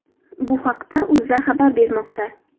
Bu haqida O‘zA xabar bermoqda .